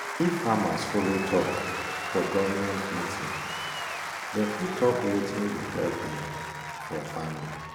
if farmers follow talk farmers follow talk for government meeting dem fit talk wetin go help dem for farming.